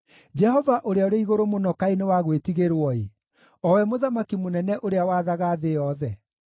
Jehova Ũrĩa-Ũrĩ-Igũrũ-Mũno kaĩ nĩ wa gwĩtigĩrwo-ĩ, O we Mũthamaki mũnene ũrĩa wathaga thĩ yothe!